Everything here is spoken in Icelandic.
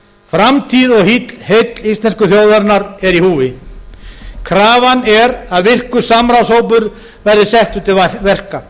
framtíð og heill íslensku þjóðarinnar er í húfi krafan er að virkur samráðshópur verði settur til verka